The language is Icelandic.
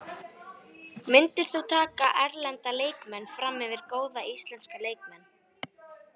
Myndirðu taka erlenda leikmenn framyfir góða íslenska leikmenn?